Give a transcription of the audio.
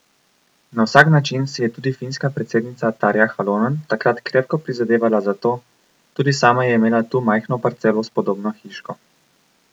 Na vsak način si je tudi finska predsednica Tarja Halonen takrat krepko prizadevala za to, tudi sama je imela tu majhno parcelo s podobno hiško.